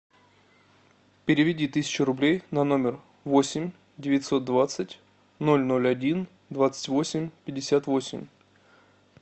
переведи тысячу рублей на номер восемь девятьсот двадцать ноль ноль один двадцать восемь пятьдесят восемь